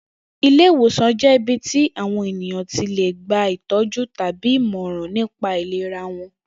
Ilé ìwòsàn jé̩ ibi tí àwo̩n ènìyàn ti lè gba ìtó̩jú tàbí ìmò̩ràn nípa ìlera wo̩n